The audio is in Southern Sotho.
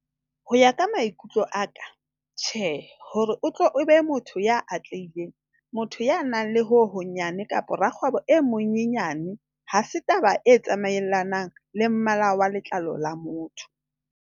Ho ya ka maikutlo a ka, TJHEE - hore o tle o be motho ya atlehileng, motho ya nang le ho honyane kapa rakgwebo e monyenyane ha se taba e tsamaelanang le mmala wa letlalo la motho.